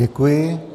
Děkuji.